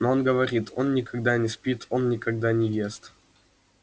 но он говорит он никогда не спит он никогда не ест